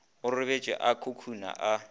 go robetšwe a khukhuna a